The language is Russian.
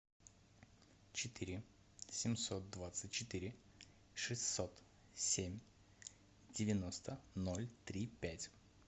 четыре семьсот двадцать четыре шестьсот семь девяносто ноль три пять